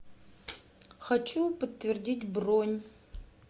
хочу подтвердить бронь